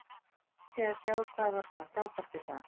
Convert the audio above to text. Þó erfitt sé að sjá hvað var svona frábært við það.